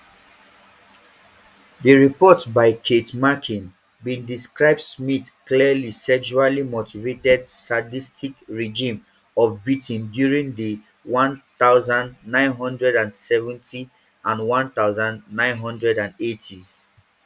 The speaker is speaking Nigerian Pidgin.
di report by keith makin bin describe smyth clearly sexually motivated sadistic regime of beatings during di one thousand, nine hundred and seventys and one thousand, nine hundred and eightys